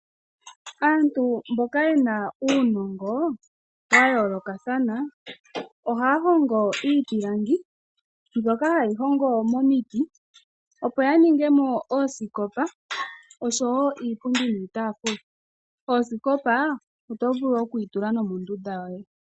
Aantu mboka ye na uunongo wa yoolokathana, ohaya hongo iipilangi mbyoka hayi hongwa momiti, opo ya ninge mo oosikopa, iipundi niitaafula. Osikopa oto vulu okuyi tula nomondunda yoye.